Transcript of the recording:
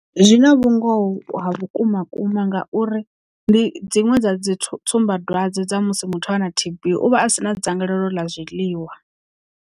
Zwina vhungoho ha vhukuma kuma ngauri ndi dziṅwe dza dzi tsumbadwadze dza musi muthu ana T_B uvha a sina dzangalelo ḽa zwiḽiwa.